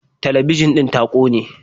Talabijin ɗin ta kone.